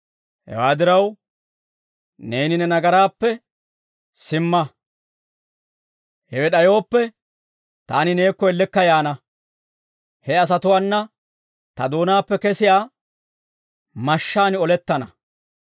Hewaa diraw, neeni ne nagaraappe simma; hewe d'ayooppe, taani neekko ellekka yaana; he asatuwaana ta doonaappe kesiyaa mashshaan olettana.